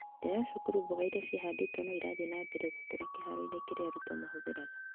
Nja ya cukuru, mboga ĩrĩa cĩahandĩtwo no ĩrathiĩ na mbere gũkũra kĩhaaro-inĩ kĩria arũtuo mahũtheraga.